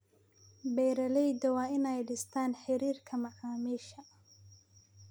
Beeraleydu waa inay dhistaan ??xiriirka macaamiisha.